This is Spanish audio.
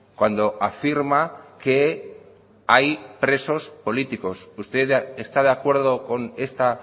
cuando afirma que hay presos políticos usted está de acuerdo con esta